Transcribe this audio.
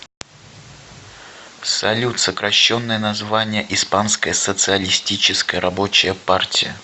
салют сокращенное название испанская социалистическая рабочая партия